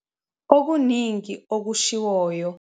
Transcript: Okuningi okushiwoyo.